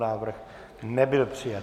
Návrh nebyl přijat.